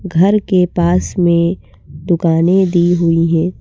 घर के पास में दुकानें दी हुई हैं।